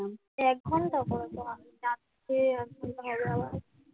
এক ঘন্টা করে তো রাত্রে এক ঘন্টা হবে আবার